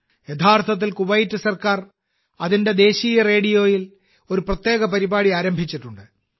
യഥാർത്ഥത്തിൽ കുവൈറ്റ് സർക്കാർ അതിന്റെ ദേശീയ റേഡിയോയിൽ ഒരു പ്രത്യേക പരിപാടി ആരംഭിച്ചിട്ടുണ്ട്